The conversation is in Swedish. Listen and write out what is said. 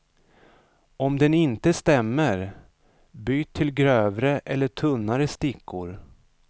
Om den inte stämmer, byt till grövre eller tunnare stickor.